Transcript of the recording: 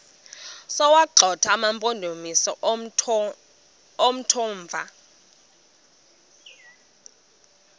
sokuwagxotha amampondomise omthonvama